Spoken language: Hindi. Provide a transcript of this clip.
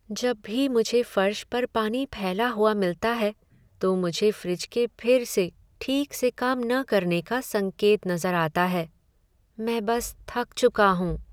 जब भी मुझे फर्श पर पानी फैला हुआ मिलता है, तो मुझे फ्रिज के फिर से ठीक से काम न करने का संकेत नज़र आता है। मैं बस थक चुका हूँ।